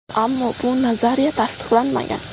Ammo bu nazariya tasdiqlanmagan.